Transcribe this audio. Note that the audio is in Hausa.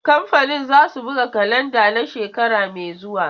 Kamfanin zasu buga kalanda na shekara mai zuwa.